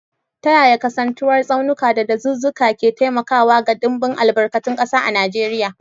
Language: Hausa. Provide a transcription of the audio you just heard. Ta yaya kasantuwar tsaunuka da dazuzzuka ke taimakawa ga dimbin albarkatun kasa a Najeriya?